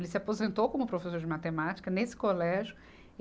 Ele se aposentou como professor de matemática nesse colégio.